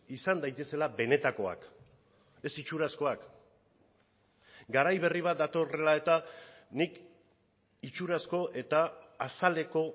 izan daitezela benetakoak ez itxurazkoak garai berri bat datorrela eta nik itxurazko eta azaleko